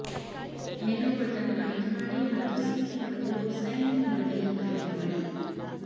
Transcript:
menu button ಆಯ್ಕೆಮಾಡಿ ಮತ್ತು sync ಮಾಡಲು ಸೈನ್ ಇನ್ ಮಾಡಿ ಆಯ್ಕೆಮಾಡಿ